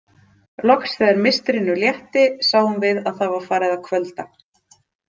Loks þegar mistrinu létti sáum við að það var farið að kvölda.